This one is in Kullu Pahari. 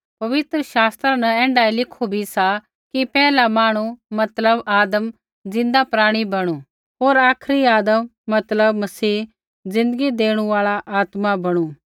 पवित्र शास्त्रा न ऐण्ढाऐ लिखु भी सा कि पैहला मांहणु मतलब आदम ज़िन्दा प्राणी बणु होर आखरी आदम मतलब मसीह ज़िन्दगी देणु आल़ा आत्मा बणु